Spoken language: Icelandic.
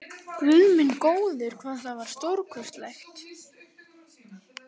Guð minn góður, hvað það var stórkostlegt!